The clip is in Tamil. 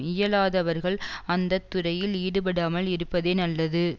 இயலாதவர்கள் அந்த துறையில் ஈடுபடாமல் இருப்பதே நல்லது